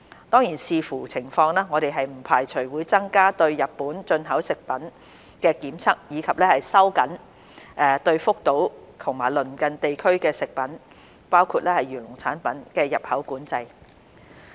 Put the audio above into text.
當然，視乎情況，我們不排除會增加對日本進口食品的檢測，以及收緊對福島及鄰近地區的食品的入口管制。